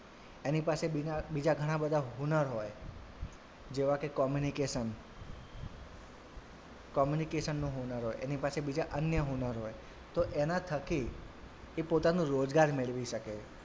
એની પાસે બીજા ઘણાં બધાં હુનર હોય જેવા કે communication communication નું હુનર હોય એની પાસે બીજા અન્ય હુનર હોય તો એનાં થકી એ પોતાનો રોજગાર મેળવી શકે.